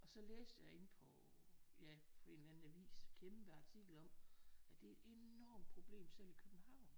Og så læste jeg inde på ja en eller anden avis kæmpe artikel om at det er et enormt problem selv i København